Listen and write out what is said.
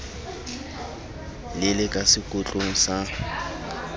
le le ka sekotlong sa